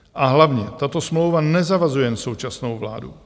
A hlavně, tato smlouva nezavazuje jen současnou vládu.